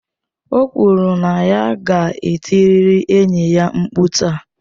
O kwuru na ya ga-etirịrị enyi ya mkpu taa.